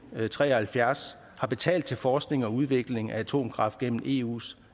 tre og halvfjerds har betalt til forskning og udvikling af atomkraft gennem eus